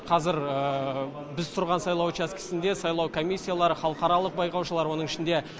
қазір біз тұрған сайлау учаскесінде сайлау комиссиялары халықаралық байқаушылар оның ішінде